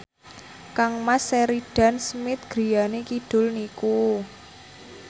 kangmas Sheridan Smith griyane kidul niku